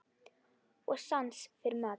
Og sans fyrir mat.